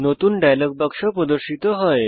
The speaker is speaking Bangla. নতুন ডায়লগ বাক্স প্রদর্শিত হয়